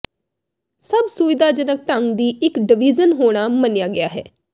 ਸਭ ਸੁਵਿਧਾਜਨਕ ਢੰਗ ਦੀ ਇਕ ਡਵੀਜ਼ਨ ਹੋਣਾ ਮੰਨਿਆ ਗਿਆ ਹੈ